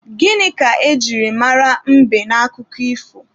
Gịnị ka e jiri mara mbe n'akụkọ ifo?